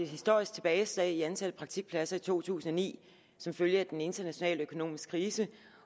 historisk tilbageslag i antallet af praktikpladser i to tusind og ni som følge af den internationale økonomiske krise